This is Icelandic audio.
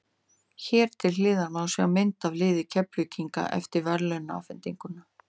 Hér til hliðar má sjá mynd af liði Keflvíkinga eftir verðlaunaafhendingu.